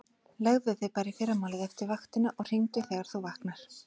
Leggðu þig bara í fyrramálið eftir vaktina og hringdu þegar þú vaknar.